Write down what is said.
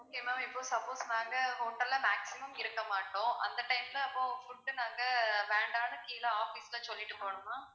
okay ma'am இப்போ suppose நாங்க hotel ல maximum இருக்க மாட்டோம். அந்த time ல அப்போ food நாங்க வேண்டான்னு கீழ office ல சொல்லிட்டு போணுமா?